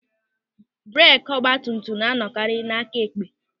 Breeki ọgbatumtum na anọkarị n'aka ekpe.